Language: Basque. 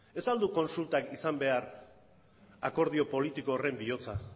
ez al du kontsultak izan behar akordio politiko horren bihotza